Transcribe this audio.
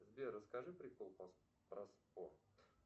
сбер расскажи прикол про спорт